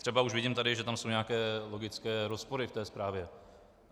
Třeba už vidím tady, že tam jsou nějaké logické rozpory v té zprávě.